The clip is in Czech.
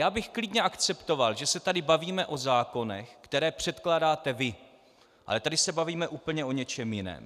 Já bych klidně akceptoval, že se tady bavíme o zákonech, které předkládáte vy, ale tady se bavíme úplně o něčem jiném.